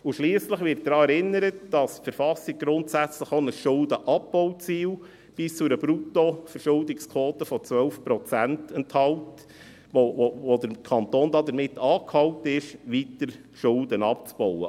Schliesslich wird daran erinnert, dass die Verfassung grundsätzlich auch ein Schuldenabbauziel bis zu einer Bruttoschuldenquote von 12 Prozent enthält, womit der Kanton angehalten ist, weiter Schulden abzubauen.